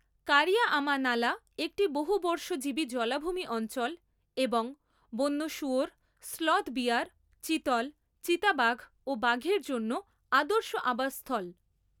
কারিয়া আমা নালা একটি বহুবর্ষজীবী জলাভূমি অঞ্চল এবং বন্য শুয়োর, স্লথ বিয়ার, চিতল, চিতাবাঘ ও বাঘের জন্য আদর্শ আবাস স্থল।